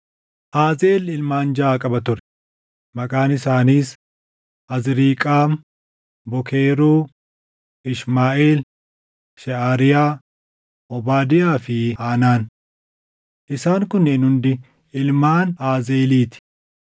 Aazeel ilmaan jaʼa qaba ture; maqaan isaaniis: Azriiqaam, Bookeruu, Ishmaaʼeel, Sheʼariyaa, Obaadiyaa fi Haanaan. Isaan kunneen hundi ilmaan Aazeelii ti.